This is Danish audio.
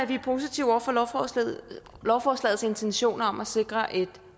vi er positive over for lovforslagets intentioner om at sikre et